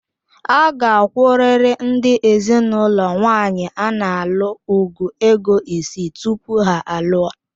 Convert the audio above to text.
a ga-akwụrịrị ndị ezinụlọ nwaanyị a na-alụ ug ego Ịsị tupu ha alụọ.